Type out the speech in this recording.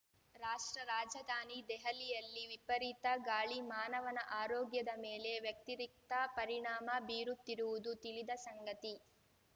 ರಾಷ್ಟ್ರ ರಾಜಧಾನಿ ದೆಹಲಿಯಲ್ಲಿ ವಿಪರೀತ ಗಾಳಿ ಮಾನವನ ಆರೋಗ್ಯದ ಮೇಲೆ ವ್ಯತಿರಿಕ್ತ ಪರಿಣಾಮ ಬೀರುತ್ತಿರುವುದು ತಿಳಿದ ಸಂಗತಿ